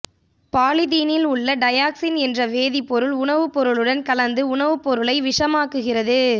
பாலிதீனில் உள்ள டையாக்சின் என்ற வேதிப்பொருள் உணவு பொருளுடன் கலந்து உணவு பொருளை விஷமாக்குகிறது